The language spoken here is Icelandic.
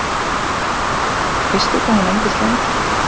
Linda: Veistu hvað hún endist lengi?